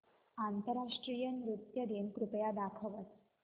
आंतरराष्ट्रीय नृत्य दिन कृपया दाखवच